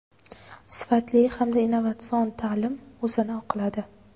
Sifatli hamda innovatsion ta’lim o‘zini oqladi.